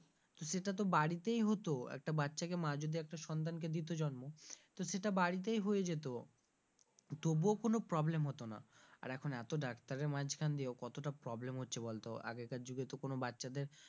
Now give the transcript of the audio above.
তো সেটা তো বাড়িতেই হতো একটা বাচ্চাকে মা যদি একটা সন্তানকে দিত জন্ম তো সেটা বাড়িতেই হয়ে যেত তবুও কোন problem হতো না আর এখন এত ডাক্তারের মাঝখান দিয়েও কতটা problem হচ্ছে বলতো আগেকার যুগে তো কোনো বাচ্চাদের,